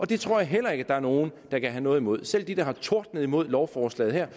det tror jeg heller ikke der er nogen der kan have noget imod selv de der har tordnet imod lovforslaget her